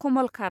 कमलकात